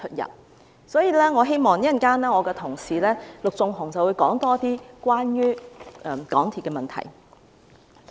因此，稍後我的同事陸頌雄議員會更深入談論關於港鐵公司的問題。